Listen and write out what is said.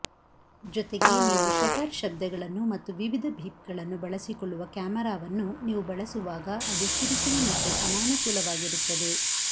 ಜೊತೆಗೆ ನೀವು ಶಟರ್ ಶಬ್ಧಗಳನ್ನು ಮತ್ತು ವಿವಿಧ ಬೀಪ್ಗಳನ್ನು ಬಳಸಿಕೊಳ್ಳುವ ಕ್ಯಾಮರಾವನ್ನು ನೀವು ಬಳಸುವಾಗ ಅದು ಕಿರಿಕಿರಿ ಮತ್ತು ಅನಾನುಕೂಲವಾಗಿರುತ್ತದೆ